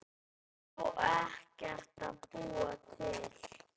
Á ekkert að búa til?